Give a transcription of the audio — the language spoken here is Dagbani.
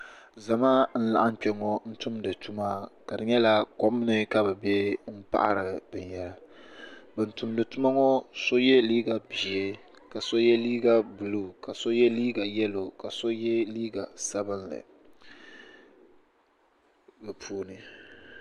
Zamaa n laɣim kpeŋɔ n tumdi tuma ka di nyɛla kom ni ka bɛ be m paɣari binyɛra ban tumdi tuma ŋɔ so ye liiga ʒee ka so ye liiga buluu ka so ye liiga yelo ka so ye liiga sabinli di puuni.